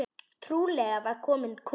Trúlega var kominn kúnni.